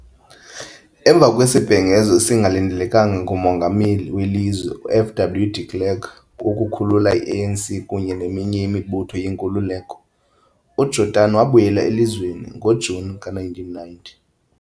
Emva kwesibhengezo esingalindelekanga nguMongameli welizwe u-F.W. de Klerk wokukhulula i-ANC kunye neminye imibutho yenkululeko, uJordani wabuyela elizweni ngo-Juni ka-1990.